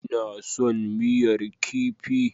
Ina son miyar kifi.